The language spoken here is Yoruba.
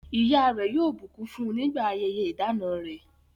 Ìyá rẹ̀ yóò bùkún fún nígbà ayẹyẹ ìdána rẹ̀.